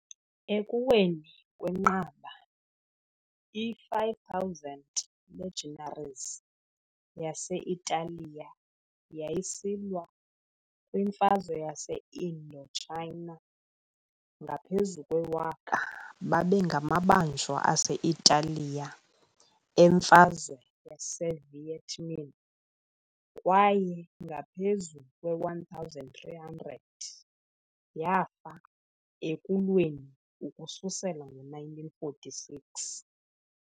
Ekuweni kwenqaba i-5,000 legionaries yase-Italiya yayisilwa kwiMfazwe yase-Indochina, ngaphezu kwewaka babengamabanjwa ase-Italiya emfazwe yase- Viet Minh kwaye ngaphezu kwe-1,300 yafa ekulweni ukususela ngo -1946 .